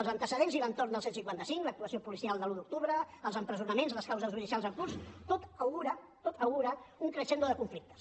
els antecedents i l’entorn del cent i cinquanta cinc l’actuació policial de l’un d’octubre els empresonaments i les causes judicials en curs tot augura un crescendo de conflictes